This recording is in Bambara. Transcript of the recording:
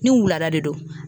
Ni wulada de don.